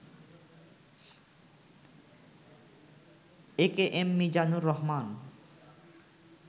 AKM Mizanur Rahman